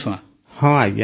ପ୍ରେମ୍ ଜୀ ହଁ ଆଜ୍ଞା